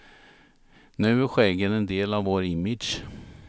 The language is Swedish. Nu är skäggen en del av vår image.